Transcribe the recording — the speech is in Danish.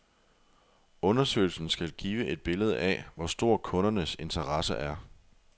Undersøgelsen skal give et billede af, hvor stor kundernes interesse er.